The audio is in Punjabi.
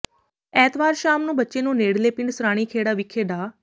ਐਤਵਾਰ ਸ਼ਾਮ ਨੂੰ ਬੱਚੇ ਨੂੰ ਨੇੜਲੇ ਪਿੰਡ ਸਰਾਣੀਖੇੜਾ ਵਿਖੇ ਡਾ